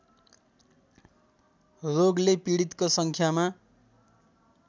रोगले पीडितको सङ्ख्यामा